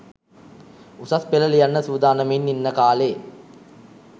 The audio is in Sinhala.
උසස් පෙළ ලියන්න සූදානමින් ඉන්න කා‍ලේ